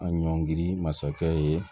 An ɲɔngiri masakɛ ye